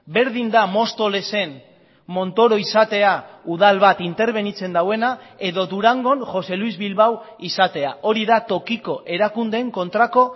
berdin da mostoles en montoro izatea udal bat interbenitzen duena edo durangon jose luis bilbao izatea hori da tokiko erakundeen kontrako